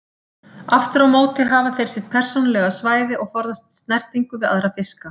Aftur á móti hafa þeir sitt persónulega svæði og forðast snertingu við aðra fiska.